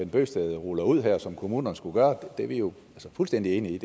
bøgsted ruller ud her som kommunerne skulle gøre det er vi jo fuldstændige enige i